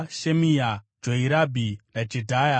Shemia, Joirabhi, naJedhaya.